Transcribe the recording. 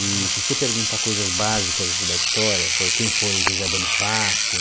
E se você perguntar coisas básicas da história, por quem foi José Bonifácio,